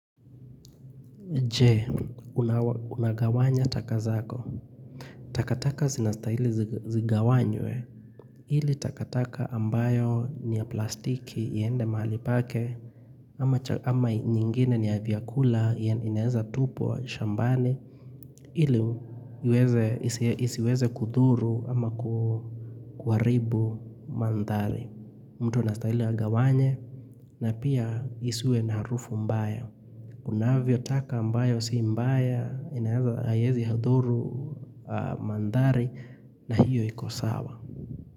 Je, unagawanya takazako. Takataka zinastaili zigawanywe. Ili takataka ambayo ni ya plastiki iende mahali pake. Ama nyingine ni ya vyakula ya inaeza tupwa shambani. Ili isiweze kudhuru ama kuharibu mandhari. Mtu unastaili agawanye. Na pia isiwe na harufu mbaya. Unavyo taka ambayo siimbaya inahaezi dhuru mandhari na hiyo ikosawa.